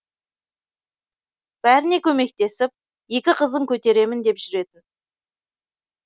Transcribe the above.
бәріне көмектесіп екі қызын көтеремін деп жүретін